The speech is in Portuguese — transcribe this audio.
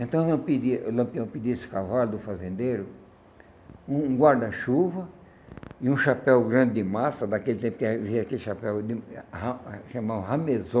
Então nós pedia Lampião pediu esse cavalo do fazendeiro, um guarda-chuva e um chapéu grande de massa, daquele tempo que havia aquele chapéu chamado,